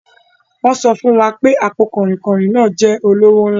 Wọ́n sọ fún wa pé àpò kanrinkan náà jẹ́ olówó ńlá.